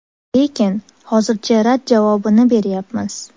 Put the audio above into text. Lekin, hozircha rad javobini beryapmiz.